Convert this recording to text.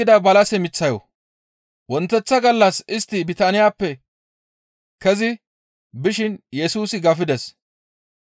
Wonteththa gallas istti Bitaaniyappe kezi bishin Yesusi gafides.